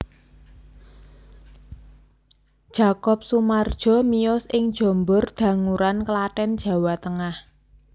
Jakob Sumardjo miyos ing Jombor Danguran Klaten Jawa Tengah